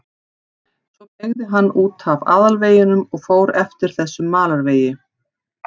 Svo beygði hann út af aðalveginum og fór eftir þessum malarvegi.